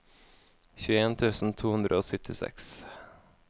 tjueen tusen to hundre og syttiseks